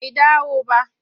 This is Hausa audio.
Bai dawo ba.